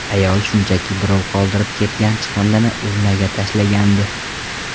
Ayol shunchaki birov qoldirib ketgan chiqindini urnaga tashlagandi.